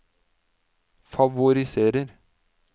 favoriserer